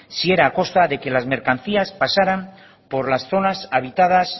si era a costa de que las mercancías pasaran por las zonas habitadas